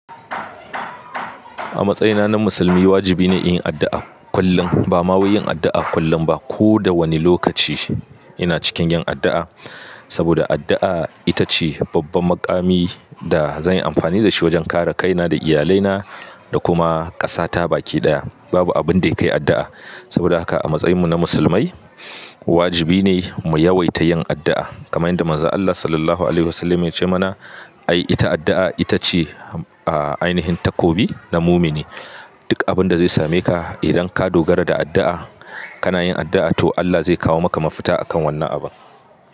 A matsayina na Musulmi, wajibi ne yin addu'a kullum. Ba ma wai yin addu'a kullum ba, ko da wani lokaci ina cikin yin addu'a. Saboda addu'a ita ce babban makami da zan yi amfani da shi wajen kare kaina da iyalaina da kuma ƙasa ta baki ɗaya. Babu abin da ya kai addu'a. Saboda haka a matsayinmu na Musulmai, wajibi ne mu yawaita yin addu'a. Kamai yadda Manzon Allah Sallallahu Alaihi Wasallama ya ce mana, ai ita addu'a ita ce aih ainihin takobi na mumini. Duk abin da zai same ka idan ka dogara da addu'a, kana yin addu'a to Allah zai kawo maka mafita a kan wannan abun.